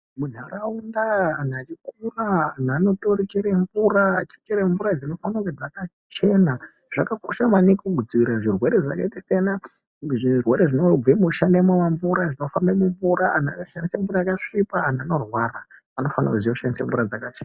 Munharaunda anhu achikuraa anhu anotoichere mvura echichere mvura dzinofanire kunge dzakachena zvakakosha maningi kudzivirire zvirwere zvakaite seana zvirwere zvinobve mushane wa mvura zvinofambe mumvura anhu akashandise mvura yakasvipa anhu anorwara anofanire kushandise mvura dzakachena.